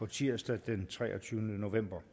tirsdag den treogtyvende november